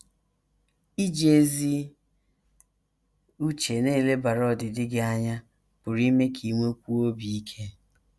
* Iji ezi uche na - elebara ọdịdị gị anya pụrụ ime ka i nwekwuo obi ike.